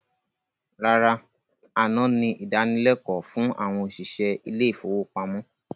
Rárá, àná ni ìdánilékòó fún àwọn òṣìṣẹ́ ilé ifówópamọ́